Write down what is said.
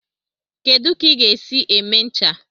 Kedu ka ị ga-esi eme ncha?